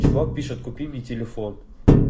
чувак пишет купи мне телефон